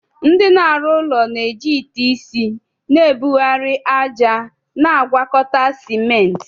Ndị na-arụ ụlọ na-eji ite isi na-ebugharị ájá na ngwakọta ciment.